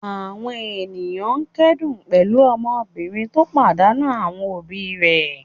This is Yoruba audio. Àwọn ènìyàn kẹ́dùn pẹ̀lú ọmọbìnrin tó pàdánù àwọn òbí rẹ̀.